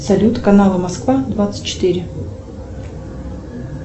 салют канала москва двадцать четыре